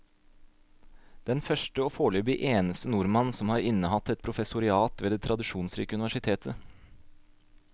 Den første og foreløpig eneste nordmann som har innehatt et professorat ved det tradisjonsrike universitetet.